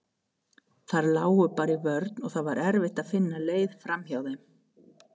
Þær lágu bara í vörn og það var erfitt að finna leið framhjá þeim.